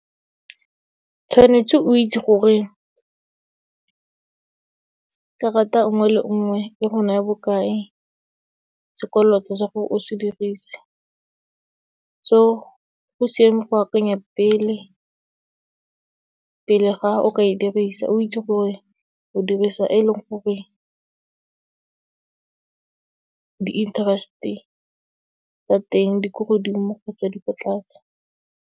Tshwanetse o itse gore, karata nngwe le nngwe e go naya bokae, sekoloto sa gore o se dirise. So, go siame go akanya pele, pele ga o ka e dirisa, o itse gore, o dirisa e leng gore di-interest-e tsa teng di ko godimo kgotsa di ko tlase.